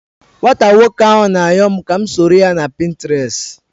Nwata nwoko ahu na ayom ka m soroya na Pinterest